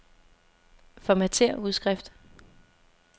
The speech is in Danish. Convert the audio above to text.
Formatér udskrift.